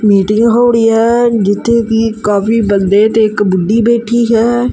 Meeting ਹੋ ੜਹੀ ਹੈ ਜਿੱਥੇ ਕੀ ਕਾਫੀ ਬੰਦੇ ਤੇ ਇੱਕ ਬੁੱਢੀ ਬੈਠੀ ਹੈ।